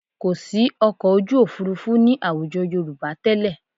Kò sí ọkọ̀ ojú òfuurufú ní àwùjọ Yorùbá tẹ́lẹ̀